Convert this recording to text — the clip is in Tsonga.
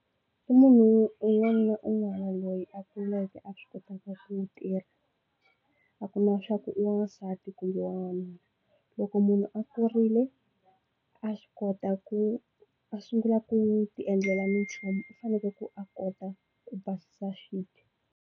I munhu un'wana na un'wana loyi a kumeke a swi kotaka ku tirha a ku na swaku i wansati kumbe wanuna loko munhu a kurile a swi kota ku a sungula ku ti endlela minchumu u faneke ku a kota ku basisa swibye.